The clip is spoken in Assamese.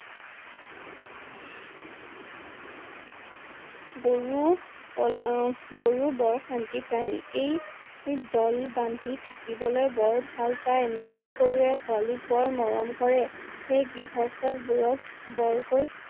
গৰু~কল উম গৰু বৰ শান্তি প্ৰাণী। এই~এই দল বান্ধি থাকিবলৈ বৰ ভাল পাই । মাইকী গৰুৱে পুৱালিক বৰ মৰম কৰে। এই গৃহস্ত বোৰক বৰকৈ